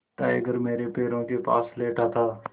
tiger मेरे पैरों के पास लेटा था